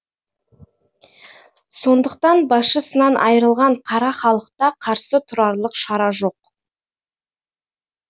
сондықтан басшысынан айрылған қара халықта қарсы тұрарлық шара жоқ